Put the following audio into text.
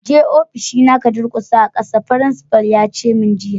Je ofishi na ka durƙusa a'kasa! Frincipa'n ya ce mun jiya.